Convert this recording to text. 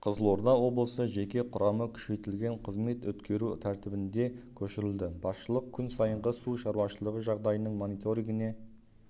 қызылорда облысы жеке құрамы күшейтілген қызмет өткеру тәртібіне көшірілді басшылық күн сайынғы су шаруашылығы жағдайының мониторингіне